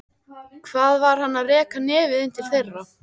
Hvað var hann að reka nefið inn til þeirra?